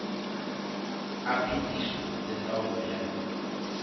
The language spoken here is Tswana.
a phetiso le taolo ya